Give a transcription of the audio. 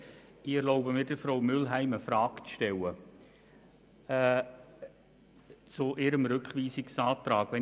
Ich erlaube mir, Frau Mühlheim eine Frage zu ihrem Rückweisungsantrag zu stellen.